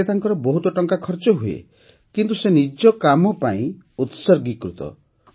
ଏଥିରେ ତାଙ୍କର ବହୁତ ଟଙ୍କା ଖର୍ଚ୍ଚ ହୁଏ କିନ୍ତୁ ସେ ନିଜ କାମ ପାଇଁ ଉତ୍ସର୍ଗୀକୃତ